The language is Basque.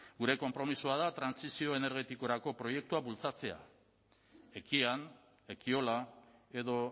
gure konpromisoa da trantsizio energetikorako proiektuak bultzatzea ekian ekiola edo